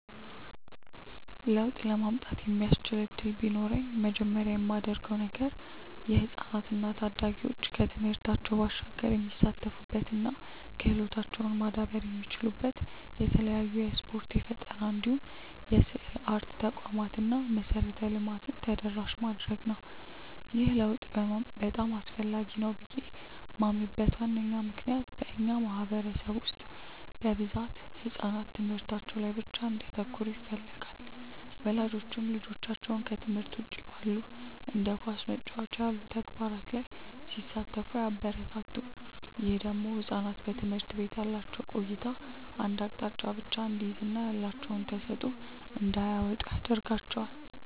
ለውጥ ለማምጣት የሚያስችል እድል ቢኖረኝ መጀመሪያ ማደርገው ነገር የህፃናት እና ታዳጊዎች ከትምህርታቸው ባሻገር የሚሳተፉበት እና ክህሎታቸውም ማዳበር የሚችሉበት የተለያዩ የስፖርት፣ የፈጠራ እንዲሁም የስዕልና አርት ተቋማትን እና መሰረተ ልማትን ተደራሽ ማድረግ ነው። ይህ ለውጥ በጣም አስፈላጊ ነው ብዬ ማምንበት ዋነኛ ምክንያት በእኛ ማህበረሰብ ውስጥ በብዛት ህጻናት ትምህርታቸው ላይ ብቻ እንዲያተኩሩ ይፈለጋል። ወላጆችም ልጆቻቸው ከትምህርት ውጪ ባሉ እንደ ኳስ መጫወት ያሉ ተግባራት ላይ ሲሳተፉ አያበረታቱም። ይህ ደግሞ ህጻናት በትምህርት ቤት ያላቸው ቆይታ አንድ አቅጣጫን ብቻ እንዲይዝ እና ያላቸውን ተሰጥዖ እንዳያወጡ ያረጋቸዋል።